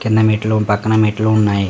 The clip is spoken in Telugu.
కింద మెట్లు పక్కన మెట్లు ఉన్నాయి.